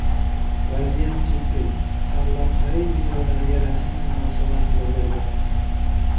Vaziyat jiddiy” sarlavhali videolavhaga rasmiy munosabat bildirdi .